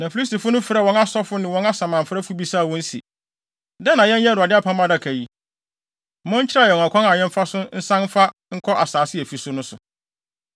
Na Filistifo no frɛɛ wɔn asɔfo ne wɔn asamanfrɛfo bisaa wɔn se, “Dɛn na yɛnyɛ Awurade Apam Adaka yi? Monkyerɛ yɛn ɔkwan a yɛmfa so nsan mfa nkɔ asase a efi so no so.”